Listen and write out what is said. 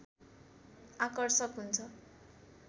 आकर्षक हुन्छ